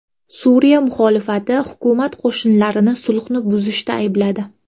Suriya muxolifati hukumat qo‘shinlarini sulhni buzishda aybladi.